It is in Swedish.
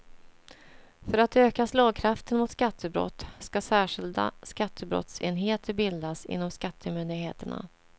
För att öka slagkraften mot skattebrott ska särskilda skattebrottsenheter bildas inom skattemyndigheterna.